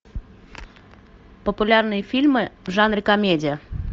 популярные фильмы в жанре комедия